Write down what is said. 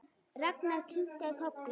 Ragnar kinkaði kolli.